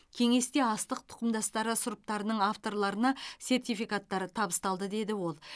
кеңесте астық тұқымдастары сұрыптарының авторларына сертификаттар табысталды деді ол